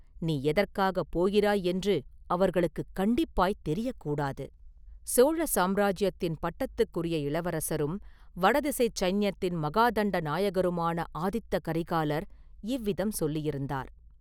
நீ எதற்காகப் போகிறாய் என்று அவர்களுக்குக் கண்டிப்பாய்த் தெரியக் கூடாது!” சோழ சாம்ராஜ்யத்தின் பட்டத்துக்குரிய இளவரசரும் வடதிசைச் சைன்யத்தின் மகாதண்ட நாயகருமான ஆதித்த கரிகாலர் இவ்விதம் சொல்லியிருந்தார்.